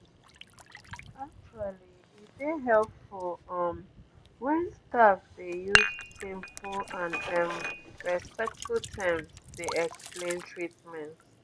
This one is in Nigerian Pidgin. actually e dey helpful um um wen staff dey use simple and um respectful terms dey explain treatment